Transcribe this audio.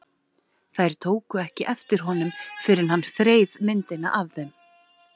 Þær tóku ekki eftir honum fyrr en hann þreif myndina af þeim.